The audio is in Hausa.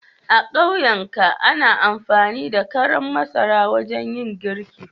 A ƙauyika ana amfani da karan masara wajen yin girki.